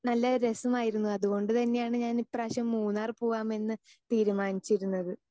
Speaker 2 നല്ല രസം ആയിരുന്നു അതുകൊണ്ട് തന്നെയാണ് ഞാൻ ഈ പ്രാവശ്യം മൂന്നാർ പൂവമെന്ന് തീരുമാനിച്ചിരുന്നത്.